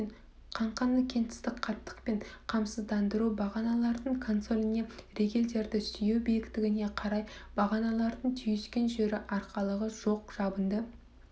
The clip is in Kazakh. қаңқаны кеңістік қаттықпен қамсыздандыру бағаналардың консоліне ригельдерді сүйеу биіктігіне қарай бағаналардың түйіскен жері арқалығы жоқ жабынды